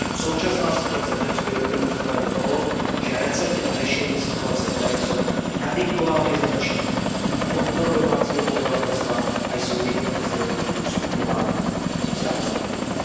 Současná situace v Řecku je dobrým příkladem toho, že recepty na řešení situace, které jsou nadiktovány zvenčí, budí odpor domácího obyvatelstva a jsou jedním ze zdrojů stupňování sociálního napětí.